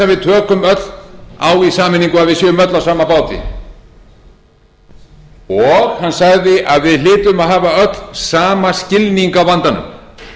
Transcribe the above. að við tökum öll á í sameiningu erum öll á sama báti og hann sagði að við hlytum öll að hafa sama skilning á